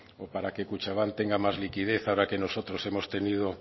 o para que kutxabank tenga más liquidez ahora que nosotros hemos tenido